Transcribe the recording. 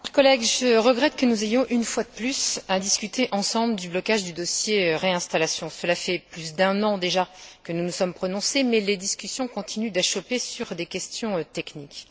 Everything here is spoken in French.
Monsieur le Président, chers collègues, je regrette que nous ayons une fois de plus à discuter ensemble du blocage du dossier sur la réinstallation. Cela fait plus d'un an, déjà, que nous nous sommes prononcés, mais les discussions continuent d'achopper sur des questions techniques.